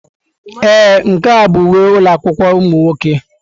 Ee, nke a bụ uwe ụlọ akwụkwọ ụmụ nwoke.